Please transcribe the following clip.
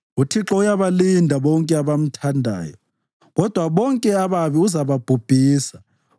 UThixo uyabalinda bonke abamthandayo, kodwa bonke ababi uzababhubhisa.